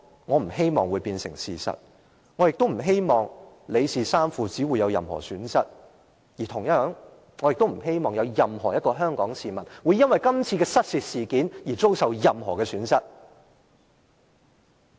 我不希望這會變成事實，我亦不希望李氏三父子會有任何損失；同樣地，我亦不希望有任何一名香港市民會由於今次失竊事件，遭受任何損失。